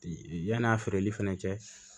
Yann'a feereli fana cɛ